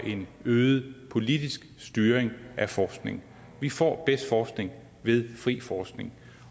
øget politisk styring af forskning vi får bedst forskning ved fri forskning